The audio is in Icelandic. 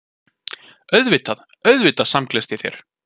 Auðvitað, auðvitað samgleðst ég þér.